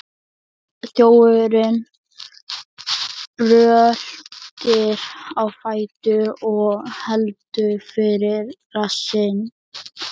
Þjófurinn bröltir á fætur og heldur fyrir rassinn.